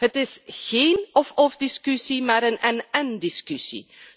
Het is geen of-of discussie, maar een en-en discussie.